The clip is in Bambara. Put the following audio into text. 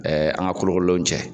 an ka kolo kololenw cɛ.